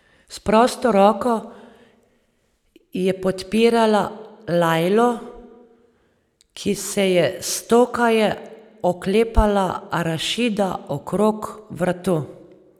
S prosto roko je podpirala Lajlo, ki se je stokaje oklepala Rašida okrog vratu.